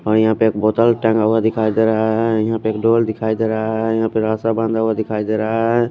और यहा पे एक बोटल टंगा हुआ दिखाई देरा है यहा पे ढोल दिखाई देरा है यहा पे रास्ता बंद हुआ दिखाई देरा है।